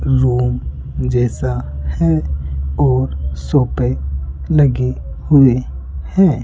Room जैसा है और सोफे लगे हुए है।